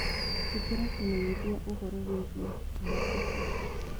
ĩkĩra kimenyithiaũhoro wĩĩgĩe dakota